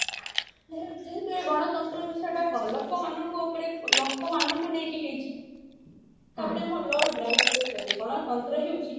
ଗଣତନ୍ତ୍ର ବିଷୟଟା କଣ ଲୋକ ମାନଙ୍କ ଉପରେ ଲୋକ ମାନଙ୍କୁ ନେଇକି ହେଇଛି ତାପରେ ଆମର lord ବ୍ରାଇସ କହିଛନ୍ତି ଗଣତନ୍ତ୍ର ହଉଛି